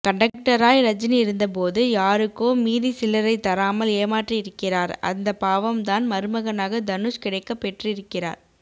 கன்டக்டராய் ரஜினி இருந்தபோது யாருக்கோ மீதி சில்லரை தராமல் ஏமாற்றி இருக்கிறார் அந்த பாவம்தான் மறுமகனாக தனுஷ் கிடைக்க பெற்றுருக்கிறார்